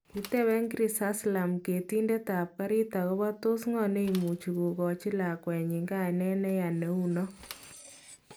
Kitebeen Chris Haslam ketindetab kariit akoboo tos ng'o neimuchi kokochi lakweenyin kaineet neyaa neu noon?